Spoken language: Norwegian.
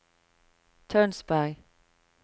Tønsberg